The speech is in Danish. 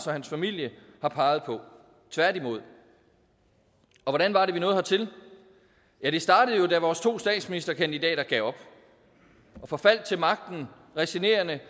og hans familie har peget på tværtimod og hvordan var det vi hertil ja det startede jo da vores to statsministerkandidater gav op og forfaldt til magten resignerende